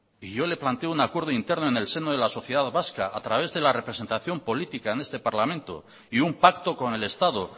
y yo le planteo un acuerdo interno en el seno de la sociedad vasca a través de la representación política en este parlamento y un pacto con el estado